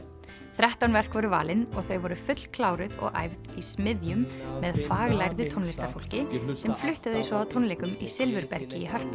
þrettán verk voru valin og þau voru fullkláruð og æfð í smiðjum með faglærðu tónlistarfólki sem flutti þau svo á tónleikum í Silfurbergi í Hörpu